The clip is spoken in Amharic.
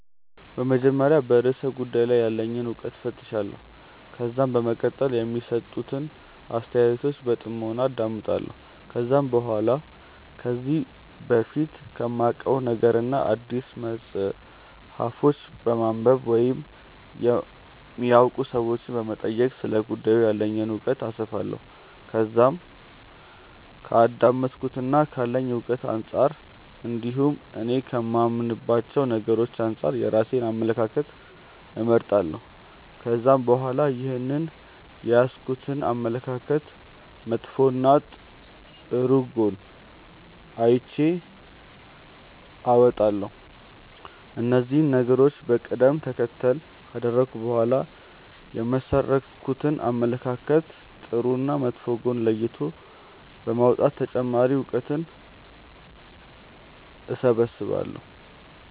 በመጀመሪያ በርእሰ ጉዳዩ ላይ ያለኝን እውቀት እፈትሻለሁ። ከዛም በመቀጠል የሚሰጡትን አስተያየቶች በጥሞና አዳምጣለሁ። ከዛም በኋላ ከዚህ በፊት ከማውቀው ነገርና አዲስ መጽሐፎችን በማንበብ ወይም የሚያውቁ ሰዎችንም በመጠየቅ ስለ ጉዳዩ ያለኝን እውቀት አሰፋለሁ። ከዛም ከአዳመጥኩትና ካለኝ እውቀት አንጻር እንዲሁም እኔ ከማምንባቸው ነገሮች አንጻር የራሴን አመለካከት እመሠረታለሁ። ከዛም በኋላ ይህንን የያዝኩትን አመለካከት መጥፎና ጥሩ ጎን ለይቼ አወጣለሁ። እነዚህን ነገሮች በቀደም ተከተል ካደረኩ በኋላ የመሠረትኩትን አመለካከት ጥሩና መጥፎ ጎን ለይቶ በማውጣት ተጨማሪ እውቀትን እሰበስባለሁ።